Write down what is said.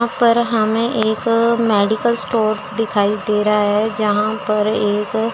यहां पर हमे एक मेडिकल स्टोर दिखाई दे रहा है जहां पर एक--